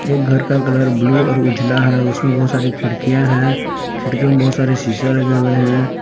एक घर का कलर ब्लू और उजला है उसमें बहुत सारी खिड़कियां हैं खिड़कीओ में बहुत सारे शीशा रखे हुए हैं।